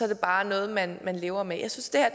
det bare noget man lever med jeg synes det her